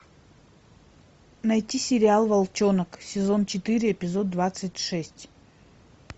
найти сериал волчонок сезон четыре эпизод двадцать шесть